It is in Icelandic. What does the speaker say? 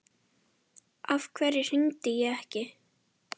Af hverju hringdi ég ekki?